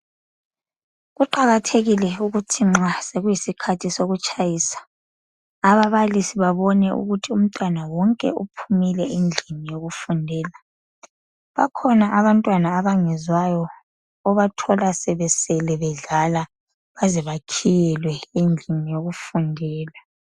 kuqakathekile ukuthi nxa sokuyisikhathi sokutshayisa ababalisi babone ukuthi umntwana wonke uphumile endlini yokufundela bakhona abantwana abangezwayo obathola sebe sele dlala baze bakhiyelwe endlini yokufundela